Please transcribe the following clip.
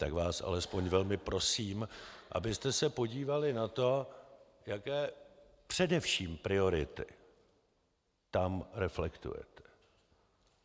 Tak vás alespoň velmi prosím, abyste se podívali na to, jaké především priority tam reflektujete.